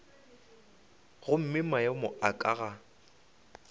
gomme maemo a ka ga